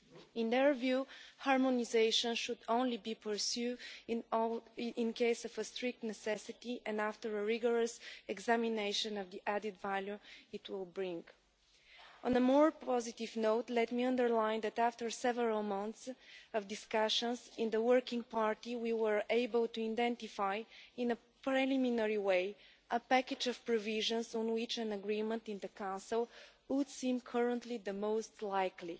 In their view, harmonisation should only be pursued in case of strict necessity and after a rigorous examination of the added value it will bring. On a more positive note, let me underline that after several months of discussions in the Working Party we were able to identify, in a preliminary way, a package of provisions on which an agreement in the Council would seem currently the most likely.